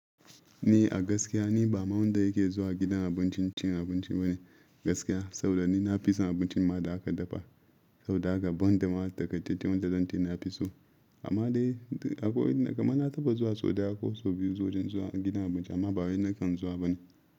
Ni a gaskiya ni bama wanda yake zuwa gidan abincin cin abinci bane gaskiya. Saboda ni na fi son abincin ma da aka dafa, saboda haka banda ma takaitaccen wurin da zance na fi so. Amma dai akwai inda kamar na taɓa zuwa sau daya ko sau biyu wajen zuwa gidan abinci amma ba wai nakan zuwa bane.